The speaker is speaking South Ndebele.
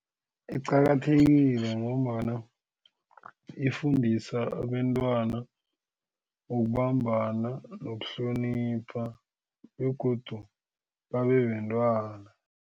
Iqakathekile ngombana ifundisa abentwana ukubambana nokuhlonipha begodu babe bentwana.